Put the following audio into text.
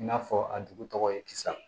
I n'a fɔ a dugu tɔgɔ ye kisa